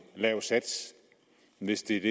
lav sats hvis det